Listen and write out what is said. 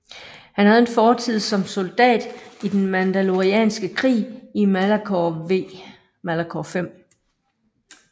Han havde en fortid som soldat i den Mandolorianske krig i Malachor V